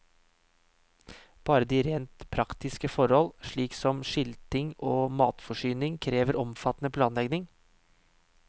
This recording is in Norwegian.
Bare de rent praktiske forhold, slik som skilting og matforsyning, krever omfattende planlegging.